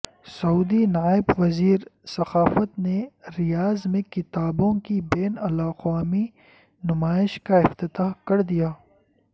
سعودی نائب وزیر ثقافت نے ریاض میں کتابوں کی بین الاقوامی نمائش کا افتتاح کردیا